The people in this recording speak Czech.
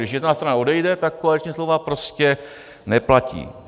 Když jedna strana odejde, tak koaliční smlouva prostě neplatí.